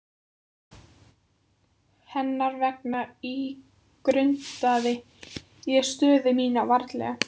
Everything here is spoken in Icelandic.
Hennar vegna ígrundaði ég stöðu mína vandlega.